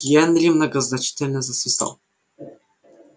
генри многозначительно засвистал